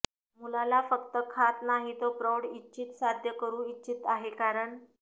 मुलाला फक्त खात नाही तो प्रौढ इच्छित साध्य करू इच्छित आहे कारण